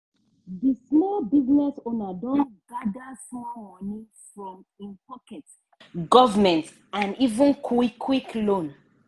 di small business owner don gada small money from - im pocket government and even quick-quick loan.